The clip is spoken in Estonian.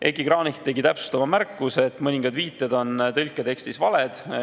Heiki Kranich tegi täpsustava märkuse, et mõningad viited on tõlketekstis valed.